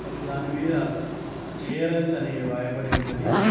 దాని మీద క్లియరెన్స్ అని రాయబడి ఉన్నది.